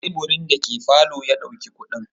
A teburin da ke falo ya ɗauki kuɗin.